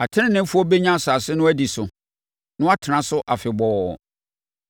Ateneneefoɔ bɛnya asase no adi so na wɔatena so afebɔɔ.